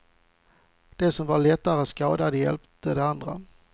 De som var lättare skadade hjäpte de andra.